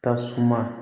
Ka suma